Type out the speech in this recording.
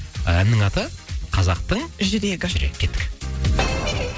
әннің аты қазақтың жүрегі жүрегі кеттік